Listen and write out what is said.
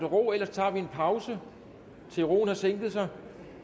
ro ellers tager vi en pause indtil roen har sænket sig